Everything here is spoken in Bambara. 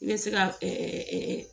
I bɛ se ka